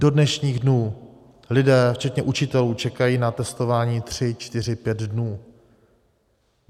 Do dnešních dnů lidé včetně učitelů čekají na testování tři čtyři pět dnů.